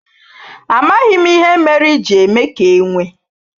Amaghim ihe mere i ji eme ka enwe